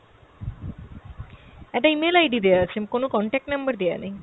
একটা email ID দেওয়া আছে, কোনো contact number দেওয়া নেই।